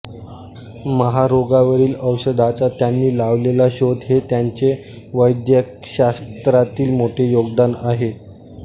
महारोगावरील औषधाचा त्यांनी लावलेला शोध हे त्यांचे वैद्यकशास्त्रातील मोठे योगदान आहे